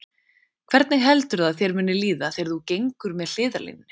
Hvernig heldurðu að þér muni líða þegar þú gengur með hliðarlínunni?